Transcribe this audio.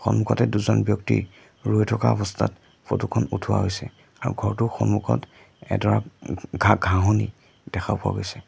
সন্মুখতে দুজন ব্যক্তি ৰৈ থকা অৱস্থাত ফটো খন উঠোৱা হৈছে আৰু ঘৰটোৰ সন্মুখত এডৰা উম ঘাঁ ঘাঁহনি দেখা পোৱা গৈছে।